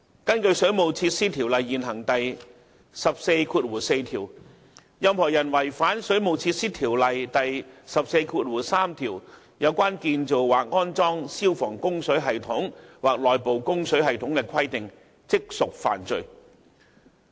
根據《水務設施條例》現行第144條，任何人違反《水務設施條例》第143條有關建造或安裝消防供水系統或內部供水系統的規定，即屬犯罪。